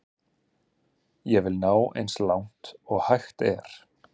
Ég vil ná eins langt og hægt er.